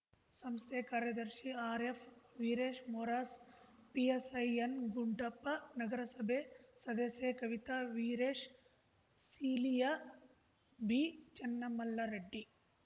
ಸಂಸ್ಥೆಯ ಕಾರ್ಯದರ್ಶಿ ಆರ್‌ಎಫ್‌ವೀರೇಶ್‌ ಮೊರಾಸ್‌ ಪಿಎಸ್‌ಐ ಎನ್‌ಗುಡ್ಡಪ್ಪ ನಗರಸಭೆ ಸದಸ್ಯೆ ಕವಿತಾ ವೀರೇಶ್‌ ಸೀಲಿಯ ಬಿಚನ್ನಮಲ್ಲರೆಡ್ಡಿ